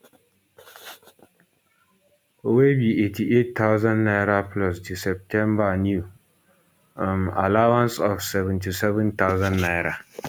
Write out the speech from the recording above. wey be 88000 naira plus di septemba new um allowance of 77000 naira